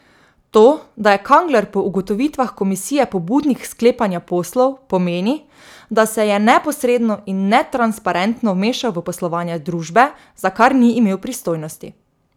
To, da je Kangler po ugotovitvah komisije pobudnik sklepanja poslov, pomeni, da se je neposredno in netransparentno vmešal v poslovanje družbe, za kar ni imel pristojnosti.